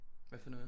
Hvad for noget